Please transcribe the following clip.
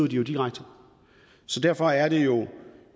jo direkte så derfor er det jo